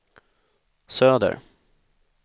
söder